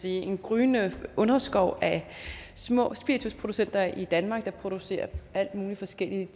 en gryende underskov af små spiritusproducenter i danmark der producerer alt mulig forskelligt